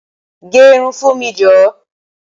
Gẹ irun fún mi jọ!